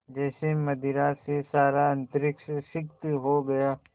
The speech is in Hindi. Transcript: जैसे मदिरा से सारा अंतरिक्ष सिक्त हो गया